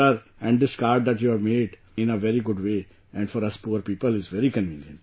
Sir and this card that you have made in a very good way and for us poor people is very convenient